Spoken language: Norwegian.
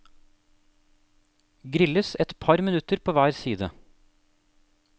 Grilles et par minutter på hver side.